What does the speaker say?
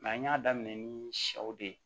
an y'a daminɛ ni sɛw de ye